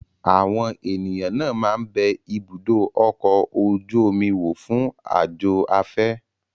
Àwọn ènìyàn náà máa ń bẹ ibùdó ọkọ̀ ojú omi wò fún àjò afẹ́.